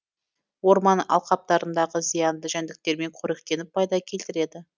орман алқаптарындағы зиянды жәндіктермен қоректеніп пайда келтіреді